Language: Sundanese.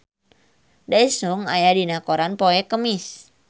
Daesung aya dina koran poe Kemis